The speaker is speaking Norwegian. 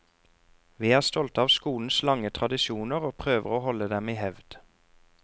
Vi er stolte av skolens lange tradisjoner og prøver å holde dem i hevd.